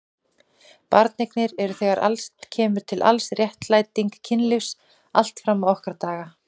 Barneignir eru þegar allt kemur til alls réttlæting kynlífs allt fram á okkar daga.